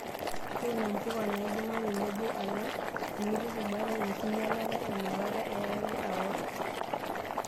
Tuuno mpuka naibunga tenebo alang' tenipik bata enkinyalata inakata iyarare aworr.